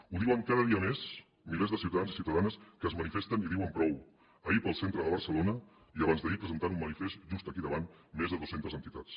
ho diuen cada dia més milers de ciutadans i ciutadanes que es manifesten i diuen prou ahir pel centre de barcelona i abans d’ahir presentant un manifest just aquí davant més de dues centes entitats